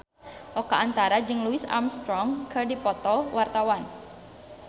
Oka Antara jeung Louis Armstrong keur dipoto ku wartawan